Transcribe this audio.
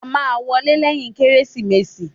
A máa wọlé lẹ́yìn Kérésìmesì.